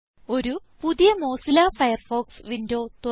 ഒരു പുതിയ Mozilla Firefox window തുറക്കുക